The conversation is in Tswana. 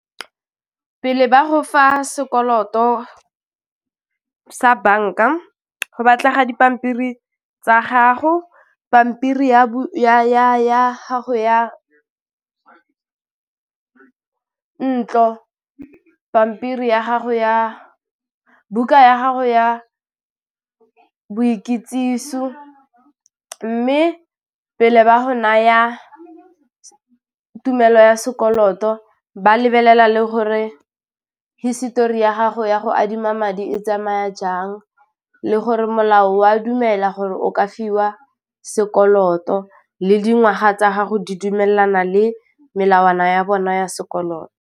Pele ba go fa sekoloto sa bank-a go batla ga dipampiri tsa gago, pampiri ya bo ya gago ya ntlo, pampiri ya gago ya buka ya gago ya boikitsiso, mme pele ba go naya tumelo ya sekoloto ba lebelela le gore hisetori ya gago ya go adima madi e tsamaya jang le gore molao wa dumela gore o ka fiwa sekoloto le dingwaga tsa gago di dumelana le melawana ya bona ya sekoloto.